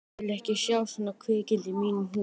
Ég vil ekki sjá svona kvikindi í mínum húsum!